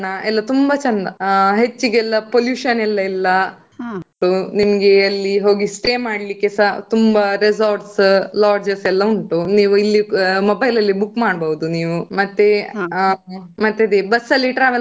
ಎಲ್ಲಾ ತುಂಬಾ ಚೆಂದ ಹೆಚ್ಚಿಗೆ ಎಲ್ಲಾ pollution ಎಲ್ಲಾ ಇಲ್ಲ. ನಿಮ್ಗೆ ಅಲ್ಲಿ stay ಮಾಡ್ಲಿಕ್ಕೆಸ ತುಂಬಾ resorts lodges ಎಲ್ಲಾ ಉಂಟು mobile ಅಲ್ಲಿ book ಮಾಡ್ಬೋದು ನೀವು. ಮತ್ತೆ ಮತ್ತದೇ bus ಅಲ್ಲಿ travel .